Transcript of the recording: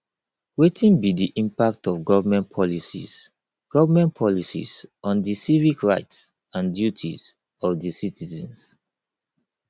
wetin be di impact of government policies government policies on di civic rights and duties of di citizens